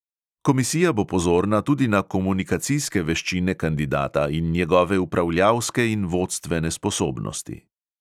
Komisija bo pozorna tudi na komunikacijske veščine kandidata in njegove upravljalske in vodstvene sposobnosti.